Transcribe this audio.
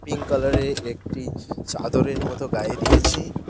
Pink কালারের একটি চাদরের মত গায়ে দিয়েছি।